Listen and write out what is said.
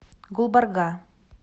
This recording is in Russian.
гулбарга